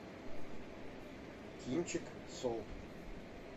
кинчик солт